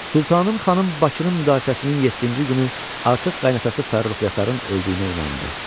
Sultanın xanım Bakının müdafiəsinin yeddinci günü artıq qaynatası Fərrux Yasarın öldüyünə inandı.